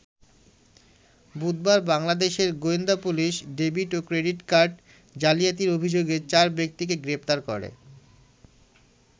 বুধবার বাংলাদেশের গোয়েন্দা পুলিশ ডেবিট ও ক্রেডিট কার্ড জালিয়াতির অভিযোগে চার ব্যক্তিকে গ্রেপ্তার করে।